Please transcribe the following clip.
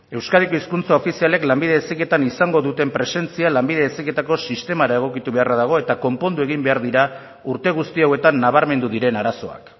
euskadiko hizkuntza ofizialek lanbide heziketan izango duten presentzia lanbide heziketako sistemara egokitu beharra dago eta konpondu egin behar dira urte guzti hauetan nabarmendu diren arazoak